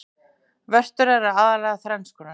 Vörtur eru aðallega þrenns konar.